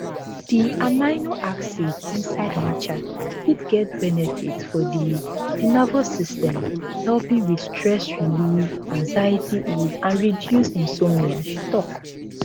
di amino acid inside matcha fit get benefits for di di nervous system helping with stress relief anxiety ease and reduce insomnia she tok